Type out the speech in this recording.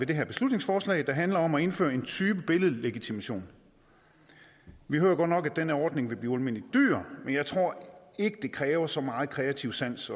det her beslutningsforslag der handler om at indføre en anden type billedlegitimation vi hører godt nok at den her ordning vil blive ualmindelig dyr men jeg tror ikke det kræver så meget kreativ sans